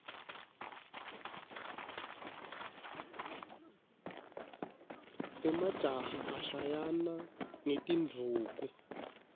emajaha ashayana ngetindvuku